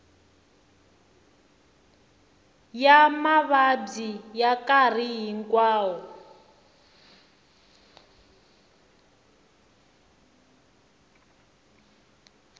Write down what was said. ya mavabyi ya nkarhi hinkwawo